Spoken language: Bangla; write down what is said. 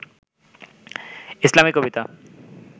ইসলামিক কবিতা